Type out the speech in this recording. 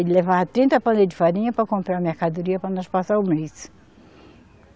Ele levava trinta pandeiros de farinha para comprar mercadoria para nós passar o mês.